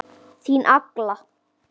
Þín Agla.